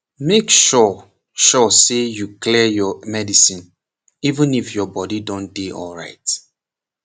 make sure sure say you clear your medicine even if your body don dey dey alright